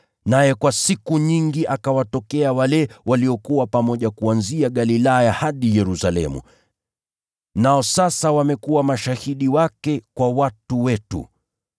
Naye kwa siku nyingi akawatokea wale waliokuwa pamoja naye kuanzia Galilaya hadi Yerusalemu. Nao sasa wamekuwa mashahidi wake kwa watu wetu.